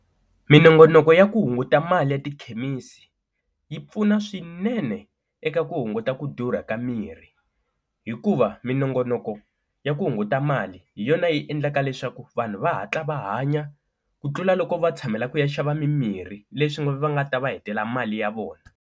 Minongonoko ya ku hunguta mali ya tikhemisi yi pfuna swinene eka ku hunguta ku durha ka mirhi hikuva minongonoko ya ku hunguta mali hi yona yi endlaka leswaku vanhu va hatla va hanya ku tlula loko va tshamela ku ya xava mimirhi, leswi nga va nga ta va hetela mali ya vona.